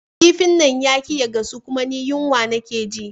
kifin nan yaƙi ya gasu kuma ni yunwa nake ji